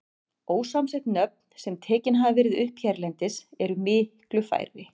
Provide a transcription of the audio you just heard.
Ósamsett nöfn, sem tekin hafa verið upp hérlendis, eru miklu færri.